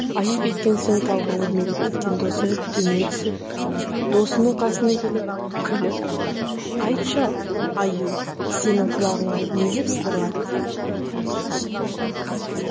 аю кеткен соң талға өрмелеп кеткен досы төмен түсіп досының қасына келіп күліп айтшы ал аю сенің құлағыңа не деп сыбырлады дейді